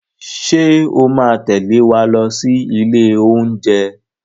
Ṣé o máa tẹ̀lé wa lọ sí ilé oúnjẹ?